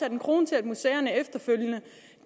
en krone til at museerne efterfølgende